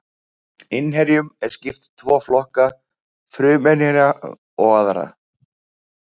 Innherjum er skipt í tvo flokka, fruminnherja og aðra.